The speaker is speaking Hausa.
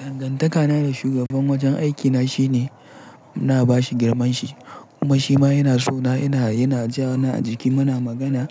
Dangantaka na da shugaban wajen aikina shine muna bashi girman shi kuma shi ma yana so na. Yana, yana ja na a jiki muna magana.